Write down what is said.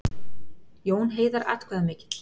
Jón Heiðar atkvæðamikill